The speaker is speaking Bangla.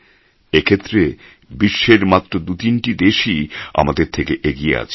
এক্ষেত্রে বিশ্বের মাত্র দু তিনটি দেশই আমাদের থেকে এগিয়ে আছে